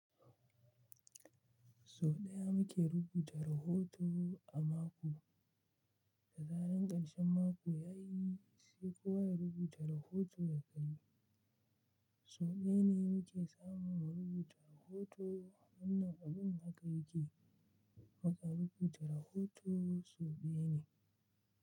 Sau ɗaya nike rubuta rahoto a mako, da zaran ƙarshen mako ya yi sai kowa ya rubuta rahoto ya kai. Sau ɗaya ne muke samun wa rubuta rahoto, wannan abin haka yake. Muka rubuta rahoto sau ɗaya ne.